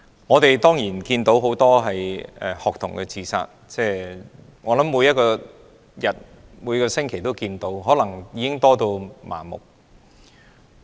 我們看到很多學童自殺，差不多每星期都有，可能大家都已有點麻木。